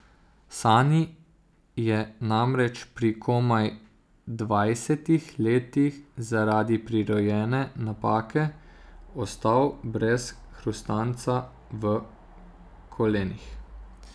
Sani je namreč pri komaj dvajsetih letih zaradi prirojene napake ostal brez hrustanca v kolenih.